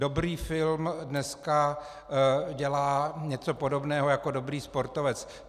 Dobrý film dneska dělá něco podobného jako dobrý sportovec.